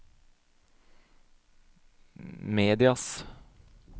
medias